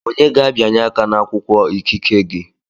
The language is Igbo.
Onye ga-abịanye aka n'akwụkwọ ikike gị?